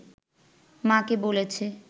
মাকে বলেছে